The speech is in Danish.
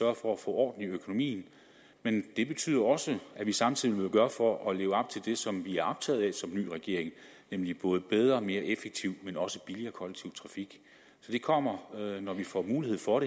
at få orden i økonomien men det betyder også at vi samtidig vil gøre alt for at leve op til det som vi er optaget af som ny regering nemlig både bedre og mere effektiv men også billigere kollektiv trafik så det kommer når vi får mulighed for